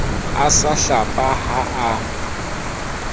a sa hlapa ha a